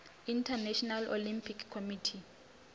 international olympic committee